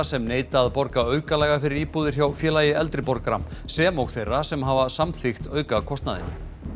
sem neita að borga aukalega fyrir íbúðir hjá Félagi eldri borgara sem og þeirra sem hafa samþykkt aukakostnaðinn